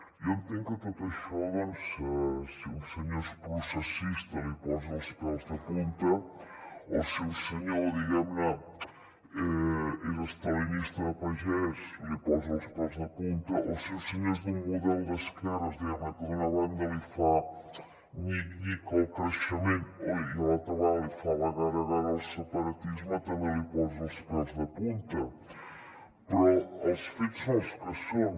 jo entenc que tot això doncs si un senyor és processista li posa els pèls de punta o que si un senyor és estalinista de pagès li posa els pèls de punta o que si un senyor és d’un model d’esquerres que d’una banda li fa nyic nyic el creixement i d’altra banda li fa la gara gara al separatisme també li posa els pèls de punta però els fets són els que són